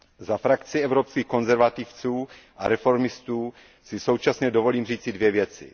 Za frakci Evropských konzervativců a reformistů si současně dovolím říci dvě věci.